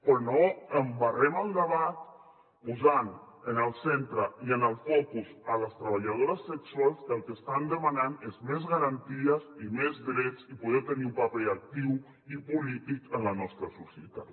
però no embarrem el debat posant en el centre i en el focus les treballadores sexuals que el que estan demanant és més garanties i més drets i poder tenir un paper actiu i polític en la nostra societat